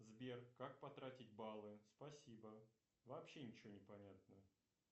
сбер как потратить баллы спасибо вообще ничего не понятно